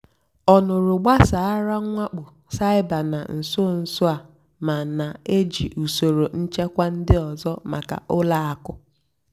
ọ́ nụ́rụ́ gbàsàrà mwákpó cybér nà nsó nsó á mà nà-èjì ùsòrò nchèkwà ndí ọ́zọ́ màkà ùlọ àkụ́.